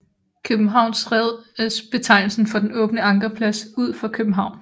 Københavns Red er betegnelsen for den åbne ankerplads1 ud for København